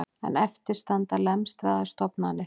En eftir standa lemstraðar stofnanir